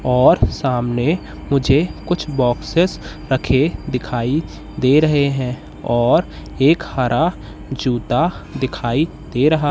और सामने मुझे कुछ बॉक्सेस रखे दिखाई दे रहे है और एक हरा जूता दिखाई दे रहा--